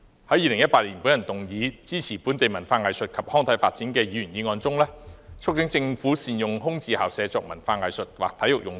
在2018年，我動議"開拓場地，創造空間，支持本地文化藝術及康體發展"的議員議案中，促請政府善用空置校舍作文化藝術或體育用途。